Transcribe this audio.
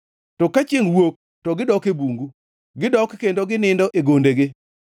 To ka chiengʼ wuok to gidok e bungu; gidok kendo ginindo e gondegi.